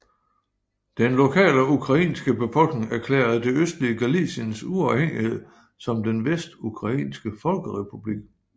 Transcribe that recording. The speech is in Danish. Den lokale ukrainske befolkning erklærede det østlige Galiciens uafhængighed som den Vestukrainske folkerepublik